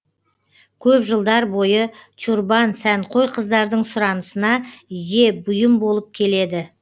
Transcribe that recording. көп жылдар бойы тюрбан сәнқой қыздардың сұранысына ие бұйым болып келеді